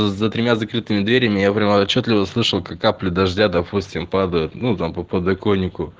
за тремя закрытыми дверями я прямо отчётливо слышал как капли дождя допустим падают ну там по подоконнику